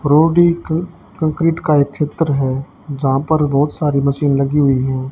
Prodigal concrete का एक क्षेत्र है जहां पर बहोत सारी मशीन लगी हुई है।